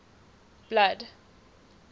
blood